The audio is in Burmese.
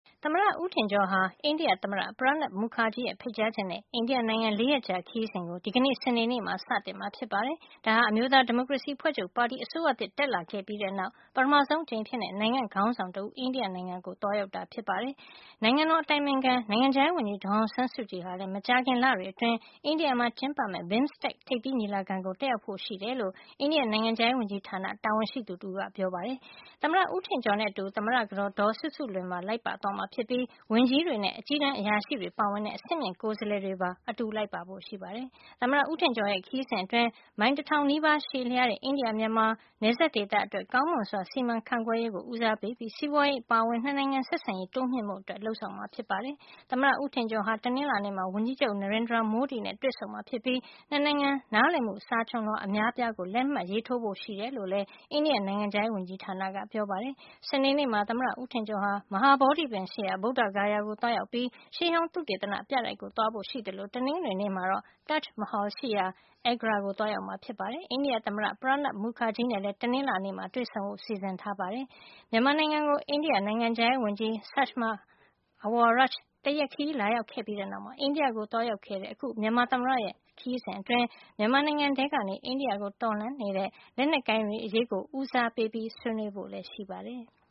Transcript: သမ္မတ ဦးထင်ကျော်ဟာ အိန္ဒိယသမ္မတ Pranab Mukherjee ရဲ့ ဖိတ်ကြားချက်နဲ့ အိန္ဒိယနိုင်ငံ ၄ ရက်ကြာခရီးစဉ်ကို ဒီကနေ့ စနေနေ့မှာ စတင်မှာ ဖြစ်ပါတယ်။ ဒါဟာ အမျိုးသားဒီမိုကရေစီ အဖွဲ့ချုပ်ပါတီ အစိုးရသစ်တက်လာခဲ့ပြီးတဲ့နောက် ပထမဆုံး အကြိမ်အဖြစ် နိုင်ငံ့ခေါင်းဆောင်တဦး အိန္ဒိယနိုင်ငံကို သွားရောက်တာ ဖြစ်ပါတယ်။ နိုင်ငံတော် အတိုင်ပင်ခံ နိုင်ငံခြားရေးဝန်ကြီး ဒေါ်အောင်ဆန်းစုကြည်ဟာလည်း မကြာခင် လတွေ အတွင်း အိန္ဒိယမှာ ကျင်းပမယ့် BIMSTEC ထိပ်သီးညီလာခံကို တက်ရောက်ဖို့ရှိတယ်လို့ အိန္ဒိယနိုင်ငံခြားရေးဝန်ကြီးဌာန တာဝန်ရှိသူ တဦးက ပြောပါတယ်။ သမ္မတ ဦးထင်ကျော်နဲ့အတူ သမ္မတကတော်ဒေါ်စုစုလွင်ပါ လိုက်ပါသွားမှာ ဖြစ်ပြီး ဝန်ကြီးတွေနဲ့ အကြီးတန်း အရာရှိတွေပါဝင်တဲ့ အဆင့်မြင့် ကိုယ်စားလှယ်တွေပါ အတူလိုက်ပါဖို့ ရှိပါတယ်။ သမ္မတဦးထင်ကျော်ရဲ့ ခရီးစဉ်အတွင်း မိုင် ၁၀၀၀ နီးပါး ရှည်လျားတဲ့ အိန္ဒိယ မြန်မာ နယ်စပ်ဒေသ အတွက် ကောင်းမွန်စွာ စီမံခန့်ခွဲရေး ကို ဦးစားပေးပြီး စီးပွါးရေးအပါအဝင် ၂ နိုင်ငံ ဆက်ဆံရေး တိုးမြှင့်ဖို့ လုပ်ဆောင်မှာ ဖြစ်ပါတယ်။ သမ္မတဦးထင်ကျော်ဟာ တနင်္လာနေ့မှာ ဝန်ကြီးချုပ် Narendra Modi နဲ့ တွေ့ဆုံမှာ ဖြစ်ပြီး နှစ်နိုင်ငံ နားလည်မှု စာချွန်လွှာ အများအပြားကို လက်မှတ်ရေးထိုးဖို့ ရှိတယ်လို့ လည်း အိန္ဒိယ နိုင်ငံခြားရေး ဝန်ကြီးဌာနကပြောပါတယ်။ စနေနေ့မှာ သမ္မတဦးထင်ကျော်ဟာ မဟာဗောဓိပင်ရှိရာ ဗုဒ္ဓဂါယာကို သွားရောက်ပြီး ရှေးဟောင်းသုတေသနပြတိုက်ကို သွားဖို့ ရှိသလို တနင်္ဂနွေနေ့မှာတော့ Taj Mahal ရှိရာ Agra ကို သွားရောက်မှာ ဖြစ်ပါတယ်။ အိန္ဒိယ သမ္မတ Pranab Mukherjee နဲ့လည်း တနင်္လာနေ့မှာ တွေ့ဆုံဖို့ စီစဉ်ထားပါတယ်။ မြန်မာနိုင်ငံကို အိန္ဒိယနိုင်ငံခြားရေးဝန်ကြီး Sushma Awaraj တရက်ခရီး လာရောက်ခဲ့ပြီးတဲ့နောက် အိန္ဒိယကို သွားရောက်တဲ့ အခု မြန်မာသမ္မတရဲ့ အိန္ဒိယ ခရီးစဉ်အတွင်း မြန်မာနိုင်ငံထဲကနေ အိန္ဒိယကို တော်လှန်နေတဲ့ လက်နက်ကိုင်တွေ အရေးကို ဦးစားပေး ဆွေးနွေးဖို့ လည်း ရှိပါတယ်။